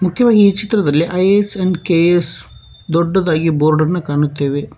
ಕೇವ ಈ ಚಿತ್ರದಲ್ಲಿ IAS and KAS ದೊಡ್ಡದಾಗಿ ಬೋರ್ಡ್ ಅನ್ನು ಕಾಣುತ್ತೇವೆ.